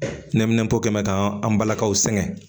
Neminɛnpo kɛn mɛ k'an balakaw sɛŋɛ